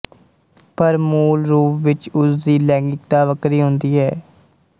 ਪਰ ਮੂਲ ਰੂਪ ਵਿੱਚ ਉਸ ਦੀ ਲੈਂਗਿਕਤਾ ਵੱਖਰੀ ਹੁੰਦੀ ਹੈ